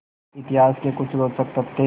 इतिहास के कुछ रोचक तथ्य